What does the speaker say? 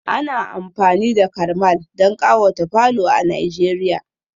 Ana amfani da karmal don kawata falo a nigeria